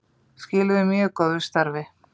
Skiluðu mjög góðu starfi